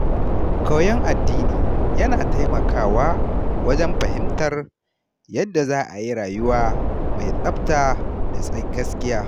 Koyon addini yana taimakawa wajen fahimtar yadda za a yi rayuwa mai tsafta da gaskiya.